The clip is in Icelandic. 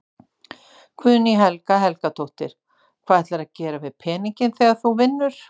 Guðný Helga Helgadóttir: Hvað ætlarðu að gera við peninginn þegar þú vinnur?